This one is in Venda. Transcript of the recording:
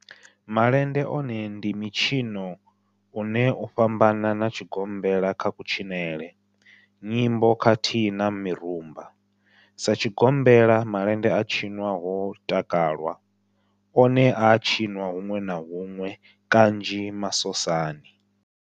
Malende one ndi mitshino une u a fhambana na tshigombela kha kutshinele, nyimbo khathihi na mirumba. Sa tshigombela, malende a tshinwa ho takalwa, one a a tshiniwa hunwe na hunwe kanzhi masosani.